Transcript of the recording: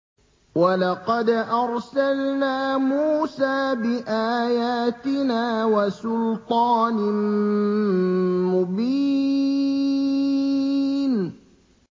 وَلَقَدْ أَرْسَلْنَا مُوسَىٰ بِآيَاتِنَا وَسُلْطَانٍ مُّبِينٍ